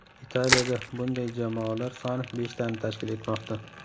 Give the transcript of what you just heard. Italiyada bunday jamoalar soni beshtani tashkil etmoqda.